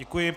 Děkuji.